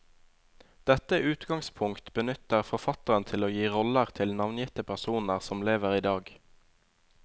Dette utgangspunkt benytter forfatteren til å gi roller til navngitte personer som lever idag.